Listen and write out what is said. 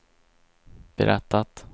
berättat